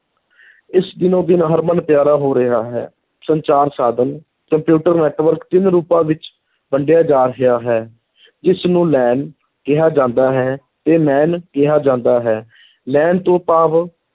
ਇਸ ਦਿਨੋ ਦਿਨ ਹਰਮਨ ਪਿਆਰਾ ਹੋ ਰਿਹਾ ਹੈ, ਸੰਚਾਰ ਸਾਧਨ, ਕੰਪਿਊਟਰ network ਤਿੰਨ ਰੂਪਾਂ ਵਿੱਚ ਵੰਡਿਆ ਜਾ ਰਿਹਾ ਹੈ ਇਸਨੂੰ LAN ਕਿਹਾ ਜਾਂਦਾ ਹੈ, ਤੇ MAN ਕਿਹਾ ਜਾਂਦਾ ਹੈ LAN ਤੋਂ ਭਾਵ